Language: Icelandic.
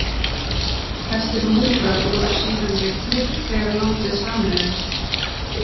Þessir múrar voru síðan rifnir þegar landið sameinaðist.